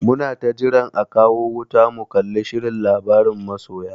Muna ta jiran a kawo wuta mu kalli shirin labaran masoya.